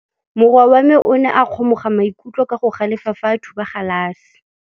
Morwa wa me o ne a kgomoga maikutlo ka go galefa fa a thuba galase.